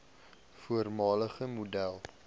voormalige model